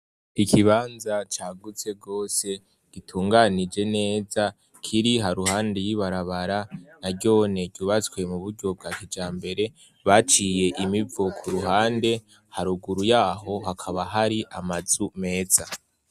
Ikibanza cagutse gose gitunganije neza kiri ha ruhande y'ibarabara naryone ryubatswe mu buryo bwa kijambere baciye imivo ku ruhande haruguru yaho hakaba hari amazu meza.